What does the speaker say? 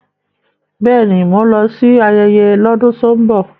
Bẹ́ẹ̀ni, mò ń lọ sí ayẹyẹ lọ́dún tó ń bọ̀.